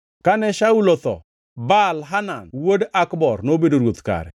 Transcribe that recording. Kane Shaul otho, Baal-Hanan wuod Akbor nobedo ruoth kare.